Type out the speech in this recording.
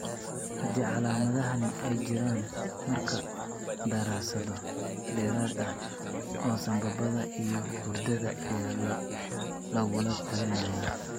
Haddii calaamadahani ay jiraan markaa daraasado dheeraad ah oo sambabada iyo hurdada ayaa lagula talinayaa.